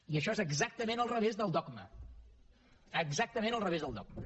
i això és exactament al revés del dogma exactament al revés del dogma